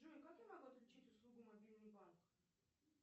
джой как я могу отключить услугу мобильный банк